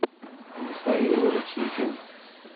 михаил рутихин